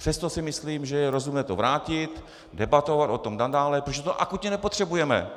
Přesto si myslím, že je rozumné to vrátit, debatovat o tom nadále, protože to akutně nepotřebujeme.